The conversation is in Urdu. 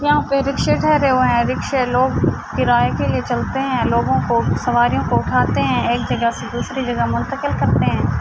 یہاں پی رکشے ٹھہرے ہوئے ہے۔ رکشے لوگ کرایے کے لئے چلتے ہے۔ لوگو کو سواریو کو اٹھاتے ہے۔ ایک جگہ سے دوسرے جگہ مرتکل کرتے ہے۔